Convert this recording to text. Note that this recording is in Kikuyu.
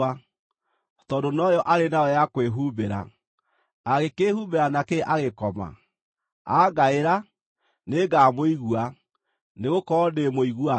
tondũ noyo arĩ nayo ya kwĩhumbĩra. Angĩkĩĩhumbĩra nakĩ agĩkoma? Angaĩra, nĩngamũigua, nĩgũkorwo ndĩ mũigua tha.